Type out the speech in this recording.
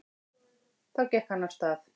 Þá gekk hann hægt af stað.